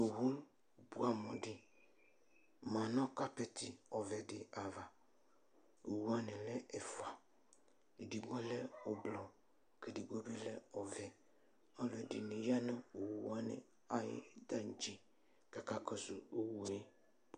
Owʋ bʋɛamʋ di manʋ kapɛti ovɛ di ava Owʋ wani lɛ ɛfʋa edigbo lɛ ʋblɔ kʋ edigbo bi lɛ ɔvɛ Alʋɛdini yanʋ owʋ wani ayʋ tantse kʋ akakɔsʋ une